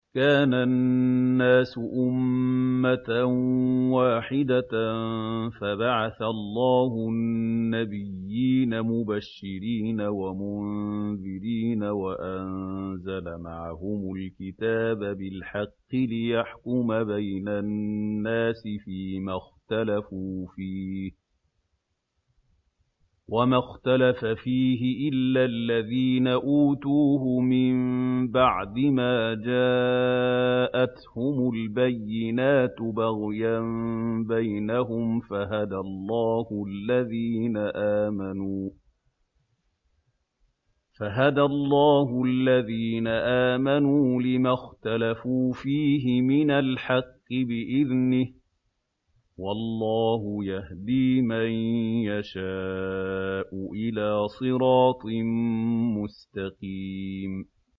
كَانَ النَّاسُ أُمَّةً وَاحِدَةً فَبَعَثَ اللَّهُ النَّبِيِّينَ مُبَشِّرِينَ وَمُنذِرِينَ وَأَنزَلَ مَعَهُمُ الْكِتَابَ بِالْحَقِّ لِيَحْكُمَ بَيْنَ النَّاسِ فِيمَا اخْتَلَفُوا فِيهِ ۚ وَمَا اخْتَلَفَ فِيهِ إِلَّا الَّذِينَ أُوتُوهُ مِن بَعْدِ مَا جَاءَتْهُمُ الْبَيِّنَاتُ بَغْيًا بَيْنَهُمْ ۖ فَهَدَى اللَّهُ الَّذِينَ آمَنُوا لِمَا اخْتَلَفُوا فِيهِ مِنَ الْحَقِّ بِإِذْنِهِ ۗ وَاللَّهُ يَهْدِي مَن يَشَاءُ إِلَىٰ صِرَاطٍ مُّسْتَقِيمٍ